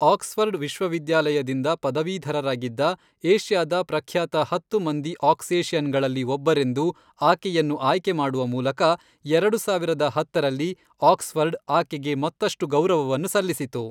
Oxford ವಿಶ್ವವಿದ್ಯಾಲಯದಿಂದ ಪದವೀಧರರಾಗಿದ್ದ ಏಷ್ಯಾದ ಪ್ರಖ್ಯಾತ ಹತ್ತು ಮಂದಿ ಆಕ್ಸೇಷಿಯನ್‌ಗಳಲ್ಲಿ ಒಬ್ಬರೆಂದು ಆಕೆಯನ್ನು ಆಯ್ಕೆ ಮಾಡುವ ಮೂಲಕ ಎರಡು ಸಾವಿರದ ಹತ್ತರಲ್ಲಿ, ಆಕ್ಸ್ಫರ್ಡ್ ಆಕೆಗೆ ಮತ್ತಷ್ಟು ಗೌರವವನ್ನು ಸಲ್ಲಿಸಿತು.